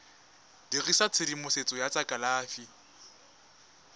dirisa tshedimosetso ya tsa kalafi